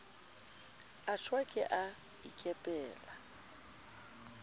a shwa ke a ikepela